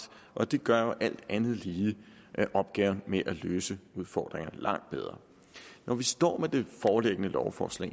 og det gør jo alt andet lige opgaven med at løse udfordringerne meget lettere når vi står med det foreliggende lovforslag